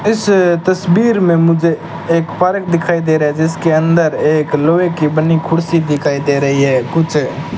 इस तस्वीर में मुझे एक पार्क दिखाई दे रहा है जिसके अंदर एक लोहे की बनी कुर्सी दिखाई दे रही है कुछ --